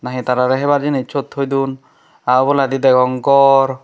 na he tarare hebar jinich sot thoi don aa oboladi degong ghor.